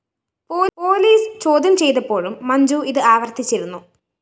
police ചോദ്യം ചെയ്തപ്പോഴും മഞ്ജു ഇത് ആവര്‍ത്തിച്ചിരുന്നു